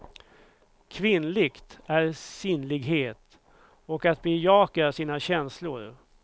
Kvinnligt är sinnlighet och att bejaka sina känslor.